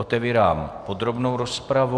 Otevírám podrobnou rozpravu.